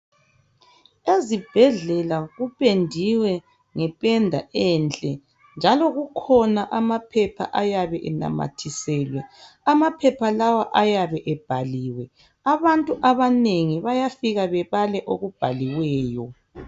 Ezibhedlela kupendiwe ngependa enhle njalo kukhona amapaper ayabe enamathiselwe. Amaphepha lawa ayabe ebhaliwe. Abantu abanengi bayafika bebale okuyabe kubhaliwe.